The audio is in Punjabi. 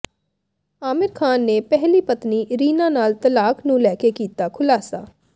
ਆਮਿਰ ਖ਼ਾਨ ਨੇ ਪਹਿਲੀ ਪਤਨੀ ਰੀਨਾ ਨਾਲ ਤਲਾਕ ਨੂੰ ਲੈ ਕੇ ਕੀਤਾ ਖੁਲਾਸਾ